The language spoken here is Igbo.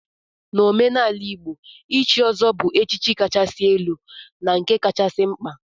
N'omenala Igbo, ichi ọzọ bu echichi kachasị elu na nke kachasị mkpa.